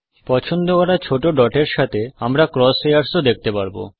পছন্দ করা ছোট ডটের সাথে আমরা ক্রস হেয়ারও দেখতে পাবো